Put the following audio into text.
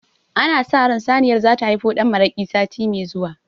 Ana sa ran saniyar zata haifo ɗan maraƙi sati me zuwa